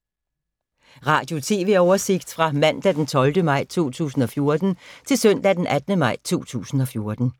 Radio/TV oversigt fra mandag d. 12. maj 2014 til søndag d. 18. maj 2014